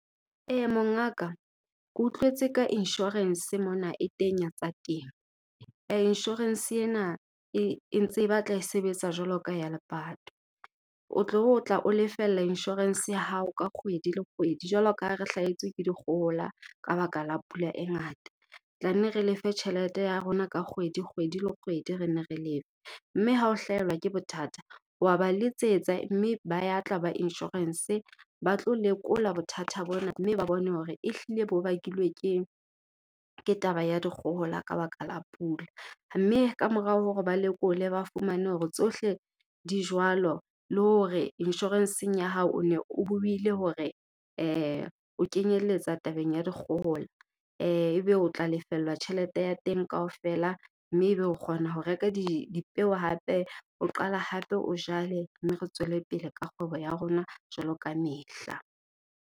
Mongaka ke utlwetse ka insurance mona e teng ya tsa temo. insurance ena e ntse e batla e sebetsa jwalo ka ya lepato. O tlo tla o lefella insurance ya hao ka kgwedi le kgwedi, jwalo ka ha re hlahetswe ke dikgohola ka baka la pula e ngata. Tlanne re lefe tjhelete ya rona ka kgwedi le kgwedi re nne re . Mme ha o hlaelwa ke bothata, wa ba letsetsa mme ba ya tla ba insurance ba tlo lekola bothata bona mme ba bone hore ehlile bo bakilwe ke taba ya dikgohola ka baka la pula. Mme kamorao hore ba lekole ba fumane hore tsohle di jwalo, le hore insurance-eng ya hao o ne o buile hore o kenyeletsa tabeng ya dikgohola. Ebe o tla lefellwa tjhelete ya teng kaofela mme ebe o kgona ho reka dipeo hape o qala hape o jale, mme re tswelepele ka kgwebo ya rona jwalo kamehla.